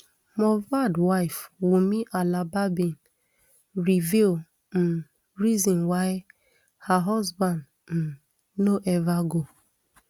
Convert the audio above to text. mohbad wife wunmi alobabin reveal um reason why her husband um no ever go